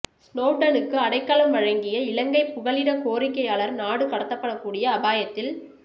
ஸ்னோவ்டனுக்கு அடைக்கலம் வழங்கிய இலங்கைப் புகலிடக் கோரிக்கையாளர் நாடு கடத்தப்படக்கூடிய அபாயத்தில்